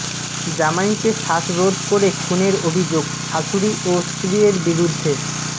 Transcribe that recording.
জামাইকে শ্বাসরোধ করে খুনের অভিযোগ শাশুড়ি ও স্ত্রীয়ের বিরুদ্ধে